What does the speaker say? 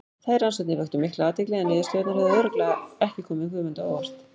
Þær rannsóknir vöktu mikla athygli en niðurstöðurnar hefðu örugglega ekki komið Guðmundi á óvart.